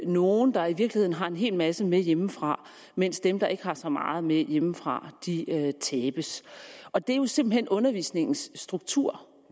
nogle der i virkeligheden har en hel masse med hjemmefra mens dem der ikke har så meget med hjemmefra tabes det er jo simpelt hen undervisningens struktur